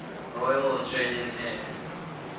royal australian air